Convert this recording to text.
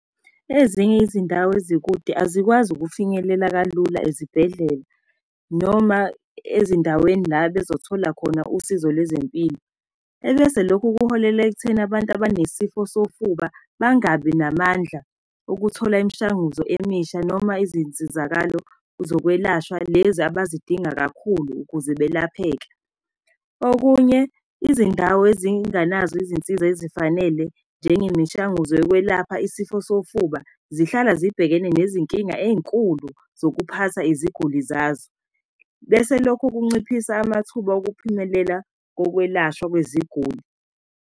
Ezinye izindawo ezikude azikwazi ukufinyelela kalula ezibhedlela, noma ezindaweni la bezothola khona usizo lwezempilo. Ebese lokhu kuholela ekutheni abantu abanesifo sofuba bangabi namandla okuthola imishanguzo emisha noma izinsizakalo zokwelashwa lezi abazidinga kakhulu ukuze belapheke. Okunye izindawo ezinganazo izinsiza ezifanele njengemishanguzo yokwelapha isifo sofuba zihlala zibhekene nezinkinga ey'nkulu zokuphatha iziguli zazo, bese lokhu kunciphisa amathuba okuphumelela kokwelashwa kweziguli.